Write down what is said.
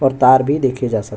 और तार भी देखे जा सकती --